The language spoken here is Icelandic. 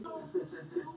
Meinar hann þetta?